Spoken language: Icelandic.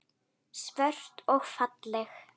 Svört og falleg.